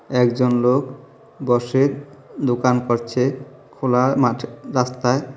একজন লোক বসে দোকান করছে খোলা মাঠে রাস্তায়।